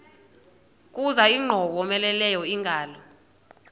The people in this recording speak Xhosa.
kuza ingowomeleleyo ingalo